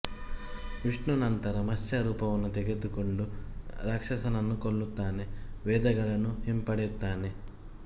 ವಿಷ್ಣು ನಂತರ ಮತ್ಸ್ಯ ರೂಪವನ್ನು ತೆಗೆದುಕೊಂಡು ರಾಕ್ಷಸನನ್ನು ಕೊಲ್ಲುತ್ತಾನೆ ವೇದಗಳನ್ನು ಹಿಂಪಡೆಯುತ್ತಾನೆ